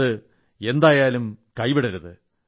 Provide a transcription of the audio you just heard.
അത് എന്തായാലും കൈവിടരുത്